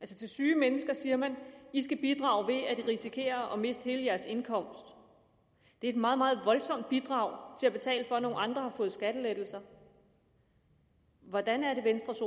til syge mennesker siger man i skal bidrage ved at risikere at miste hele jeres indkomst det er et meget meget voldsomt bidrag til at betale for at nogle andre har fået skattelettelser hvordan er det venstres